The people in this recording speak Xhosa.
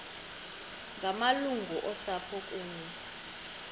ngamalungu osapho kunye